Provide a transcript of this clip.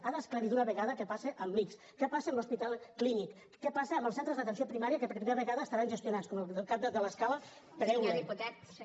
ha d’esclarir d’una vegada què passa amb l’ics què passa amb l’hospital clínic què passa amb els centres d’atenció primària que per primera vegada estaran gestionats com el cap de l’escala per eulen